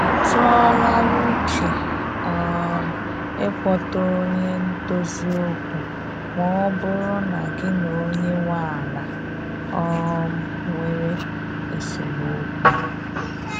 Ị tụọ la uche um ị kpọta onye ndozi okwu ma ọ bụrụ na gị na onye nwe ala um nwere esemokwu